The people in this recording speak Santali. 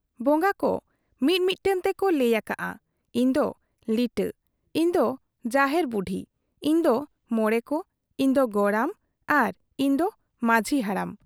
ᱵᱚᱝᱜᱟ ᱠᱚ ᱢᱤ ᱢᱤᱫᱴᱟᱝ ᱛᱮᱠᱚ ᱞᱟᱹᱭ ᱟᱠᱟᱜ ᱟ, ᱤᱧ ᱫᱚ ᱞᱤᱴᱟᱹ, ᱤᱧ ᱫᱚ ᱡᱟᱦᱮᱨ ᱵᱩᱰᱦᱤ , ᱤᱧ ᱫᱚ ᱢᱚᱬᱮ ᱠᱚ , ᱤᱧ ᱫᱚ ᱜᱚᱨᱟᱢ ᱟᱨ ᱤᱧ ᱫᱚ ᱢᱟᱡᱷᱤ ᱦᱟᱲᱟᱢ ᱾